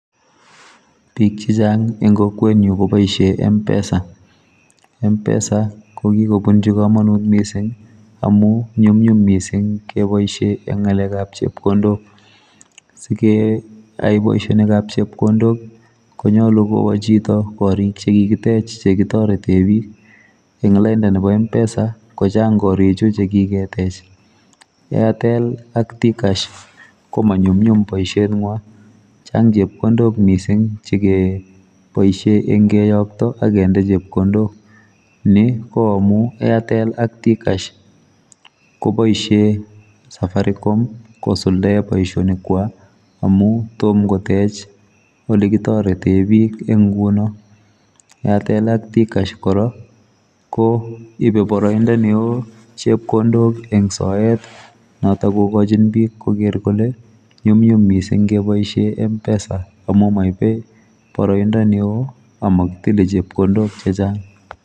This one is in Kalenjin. Biik che chaang en kokwet nyuun kobaisheen mpesa mpesa ko kobunjii kamanuut missing amuun nyumnyum missing kebaisheen eng ngalek ab chepkondook ,sikeyai boisionik ab chepkondook konyoluu kowa koriik che kikiteech chekitareteen biik ,en laindaa nebo mpesa ko chaang koriik chuu chekiketecch airtell ak t cash ko ma nyumnyum boisiet nywaany